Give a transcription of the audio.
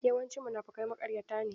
Yawancin munafukai maƙaryata ne.